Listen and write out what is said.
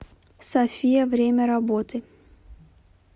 сафия время работы